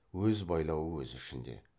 өз байлауы өз ішінде